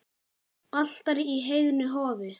Altari í heiðnu hofi.